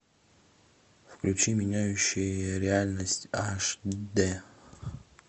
включи меняющие реальность аш д